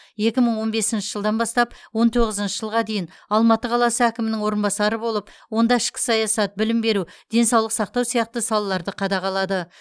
екі мың он бесінші жылдан бастап екі мың он тоғызыншы жылға дейін алматы қаласы әкімінің орынбасары болып онда ішкі саясат білім беру денсаулық сақтау сияқты салаларды қадағалады